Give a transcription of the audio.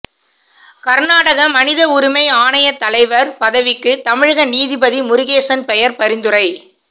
கர்நாடக மனித உரிமை ஆணைய தலைவர் பதவிக்கு தமிழக நீதிபதி முருகேசன் பெயர் பரிந்துரை